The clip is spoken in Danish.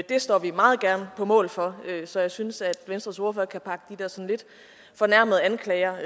det står vi meget gerne på mål for så jeg synes at venstres ordfører kan pakke de der sådan lidt fornærmede anklager